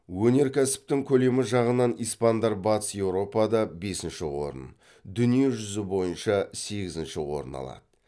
өнеркәсіптің көлемі жағынан испандар батыс еуропада бесінші орын дүние жүзі бойынша сегізінші орын алады